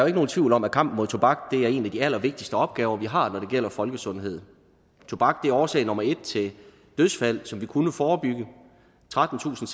ikke nogen tvivl om at kampen mod tobak er en af de allervigtigste opgaver vi har når det gælder folkesundhed tobak er årsag nummer en til dødsfald som vi kunne forebygge trettentusinde